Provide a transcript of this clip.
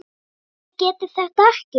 að ég geti þetta ekki.